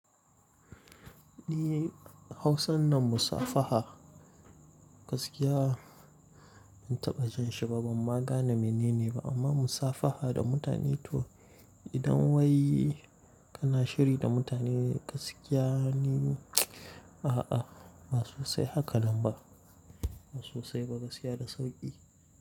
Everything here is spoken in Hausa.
Ni hausan nan musafaha. Gaskiya ban taɓa jin shi ba, ban magana mene ne ba, amma musafaha da mutane to idan wai kana shiri da mutane gaskiya ni a'a Ba sosai haka nan ba, ba sosai ba gaskiya da sauƙi.